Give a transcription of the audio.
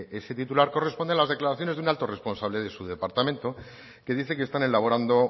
ese titular corresponde a las declaraciones de un alto responsable de su departamento que dice que están elaborando